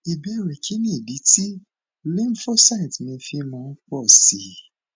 ìbéèrè kí nì idí tí lymphocyte mi fi máa ń pọ sí i